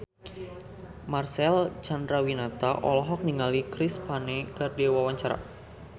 Marcel Chandrawinata olohok ningali Chris Pane keur diwawancara